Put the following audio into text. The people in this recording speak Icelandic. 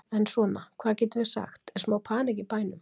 Er svona, hvað getum við sagt, er smá panikk í bænum?